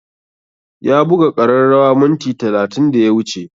Ya buga ƙararrawa minti talatin da ya wuce